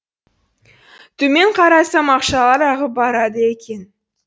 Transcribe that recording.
төмен қарасам ақшалар ағып барады екен